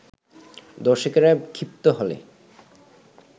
দর্শকেরা ক্ষিপ্ত হলে